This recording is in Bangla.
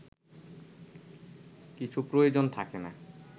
কিছু প্রয়োজন থাকে না